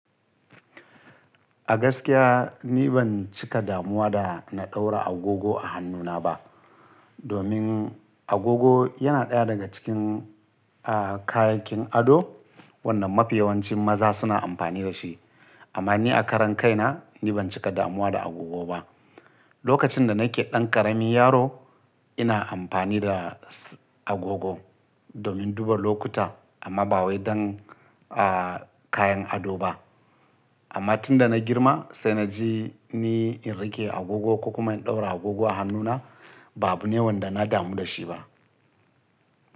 A gaskiya ni ban cika damuwa da na ɗaura agogo a hannuna ba. Domin agogo yana ɗaya daga cikin, ah, kayakin ado wanda mafi yawancin maza suna amfani da shi. Amma ni a karan kaina ni ban cika damuwa da agogo ba. Lokacin da nake ɗan ƙarami yaro ina amfani da s-agogo domin duba lokuta amma ba wai don, ah, kayan ado ba. Amma tun da na girma sai na ji ni in riƙe agogo ko kuma in ɗaura agogo a hannuna ba abu ne wanda na damu da shi ba.